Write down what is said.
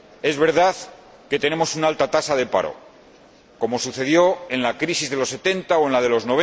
Es verdad que tenemos una alta tasa de paro, como sucedió en la crisis de los 70 o en la de los